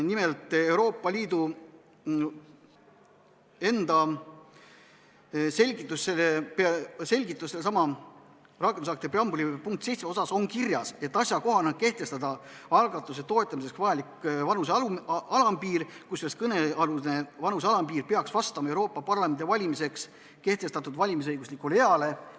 Nimelt, Euroopa Liidu enda selgituses sellesama rakendusakti preambuli punkti 7 kohta on kirjas, et asjakohane on kehtestada algatuse toetamiseks vajalik vanuse alampiir, kusjuures kõnealune vanuse alampiir peaks vastama Euroopa Parlamendi valimiseks kehtestatud valimisõiguslikule eale.